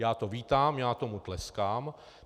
Já to vítám, já tomu tleskám.